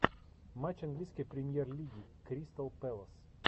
матч английской премьер лиги кристал пэлас